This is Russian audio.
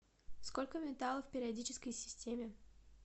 сколько металлов в периодической системе